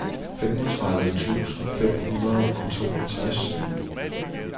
femogtredive tusind fem hundrede og toogtres